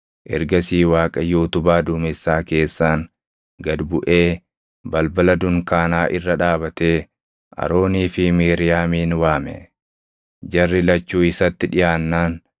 Ergasii Waaqayyo utubaa duumessaa keessaan gad buʼee balbala dunkaanaa irra dhaabatee Aroonii fi Miiriyaamin waame. Jarri lachuu isatti dhiʼaannaan,